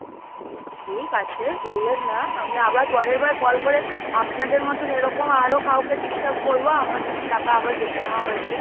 ঠিক আছে, বললেন না, আমি আবার পরেরবার call করে আপনাদের মতন এরকম আরো কাউকে disturb করবো, আমার যদি টাকা আবার কেটে নেওয়া হয়েছে।